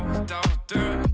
þetta allt